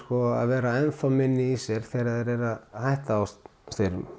að vera enn þá minni í sér þegar þeir eru að hætta á sterum